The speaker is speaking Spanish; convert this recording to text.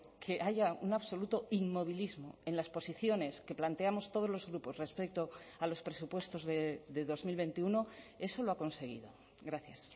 que haya un absoluto inmovilismo en las posiciones que planteamos todos los grupos respecto a los presupuestos de dos mil veintiuno eso lo ha conseguido gracias